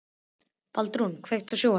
Baldrún, kveiktu á sjónvarpinu.